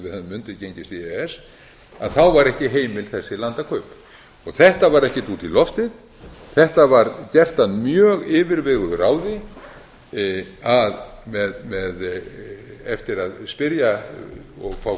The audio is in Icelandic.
undirgengist við e e s þá væru ekki heimil þessi landakaupa þetta var ekkert út í loftið þetta var gert að mjög yfirveguðu ráði eftir að spyrja og fá